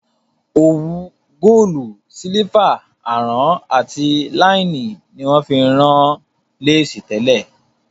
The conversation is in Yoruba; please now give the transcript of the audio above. Òwu Góòlù, sílífà, àrán àti láínì ni wón fi ń rán Léèsì tẹ́lẹ̀